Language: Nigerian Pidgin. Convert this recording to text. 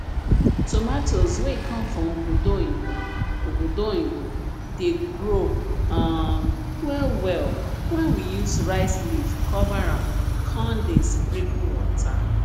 tomatoes wey come from obodo oyinbo obodo oyinbo dey grow um well well when we use rice leaf cover am con dey sprinkle water